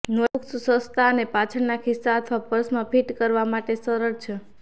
notebooks સસ્તા અને પાછળના ખિસ્સા અથવા પર્સમાં ફિટ કરવા માટે સરળ છે